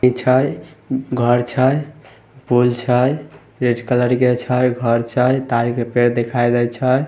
छै घर छै पूल छै रेड कलर के छै घर छै तार के पेड़ दिखाई देइ छै।